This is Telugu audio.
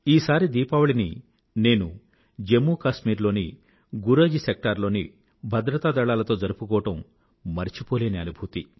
ఈసారి దీపావళిని నేను జమ్మూ కాశ్మీర్ లోని గురేజ్ సెక్టార్ లోని భద్రతాదళాలతో జరుపుకోవడం మరచిపోలేని అనుభూతి